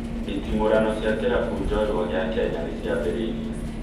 Nditimũrano cia kĩrabu njorua gĩa Kenya nĩ ciambĩrĩirie